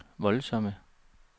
voldsomme